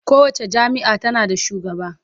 Kowace jami'a tana da shugaba